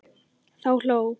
Þá hló